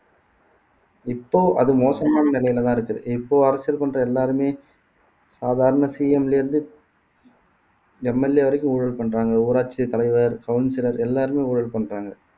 இப்போ அது மோசமான நிலையிலேதான் இருக்குது இப்போ அரசியல் பண்ற எல்லாருமே சாதாரண CM ல இருந்து MLA வரைக்கும் ஊழல் பண்றாங்க ஊராட்சி தலைவர் councillor எல்லாருமே ஊழல் பண்றாங்க